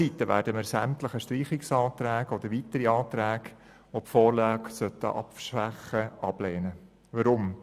Sämtliche Streichungsanträge oder weitere Anträge, welche die Vorlage abschwächen würden, lehnen wir ab.